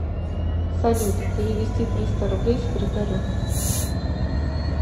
салют перевести триста рублей секретарю